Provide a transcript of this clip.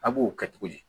A b'o kɛ cogo di